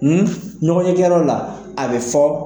ɲɔgɔnye kɛ yɔrɔ la, a bɛ fɔ